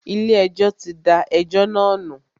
Ilé ẹjọ́ tí da ẹjọ́ náà nù.